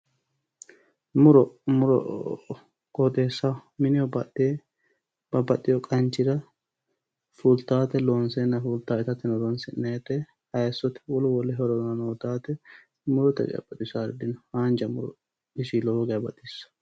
Muro muro qooxeessaho mineho badhee babbaxxeyo qanchira fultaate loonse fultaate hattino horonsi'nayte hattono hayissote wolu wolu hororano uyitaate wolootuno haanja muro lowo geya baxissanno